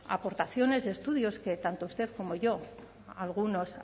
aportaciones y estudios que tanto usted como yo algunos